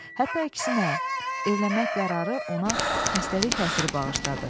Hətta əksinə evlənmək qərarı ona xəstəlik təsiri bağışladı.